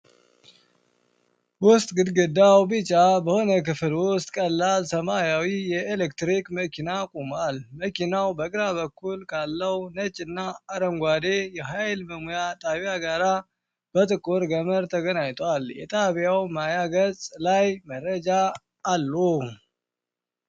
ውስጥ ግድግዳው ቢጫ በሆነ ክፍል ውስጥ፣ ቀላል ሰማያዊ የኤሌክትሪክ መኪና ቆሟል። መኪናው በግራ በኩል ካለው ነጭ እና አረንጓዴ የኃይል መሙያ ጣቢያ ጋር በጥቁር ገመድ ተገናኝቷል። የጣቢያው ማያ ገጽ ላይ መረጃዎች አሉ።